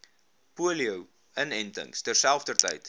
polio inentings terselfdertyd